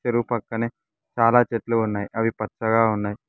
చెరువు పక్కనే చాలా చెట్లు ఉన్నాయి అవి పచ్చగా ఉన్నాయి.